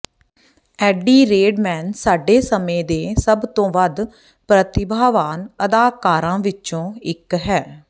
ਐਡੀ ਰੇਡਮੈਨ ਸਾਡੇ ਸਮੇਂ ਦੇ ਸਭ ਤੋਂ ਵੱਧ ਪ੍ਰਤਿਭਾਵਾਨ ਅਦਾਕਾਰਾਂ ਵਿੱਚੋਂ ਇੱਕ ਹੈ